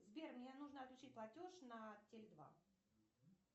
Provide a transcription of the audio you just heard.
сбер мне нужно отключить платеж на теле два